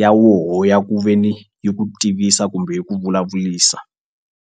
ya woho ya ku ve ni yi ku tivisa kumbe yi ku vulavulisa.